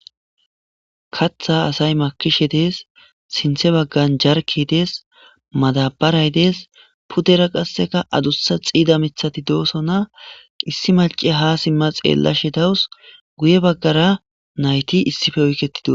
Kaththa asay maakkishe dees sinthe baggan jarkey dees madabaray dees puddera qasseka addussa xiidda miiththati doosona issi maciya ha siimma xeellashe dawus guye baggara nayti issippe oykettidii